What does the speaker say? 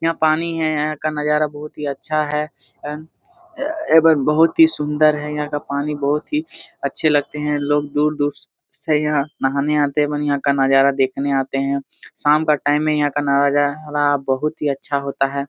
यहाँ पानी है यहाँ का नज़ारा बहुत ही अच्छा है एवं एवं बहुत ही सुंदर है यहाँ का पानी बहुत ही अच्छे लगते है लोग दूर दूर से यहाँ नहाने आते है एवं यहाँ का नज़ारा देखने आते है शाम का टाइम है यहाँ न नज़ाना बहुत अच्छा ही होता है।